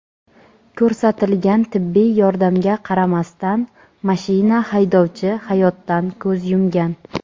Ko‘rsatilgan tibbiy yordamga qaramasdan mashina haydovchi hayotdan ko‘z yumgan.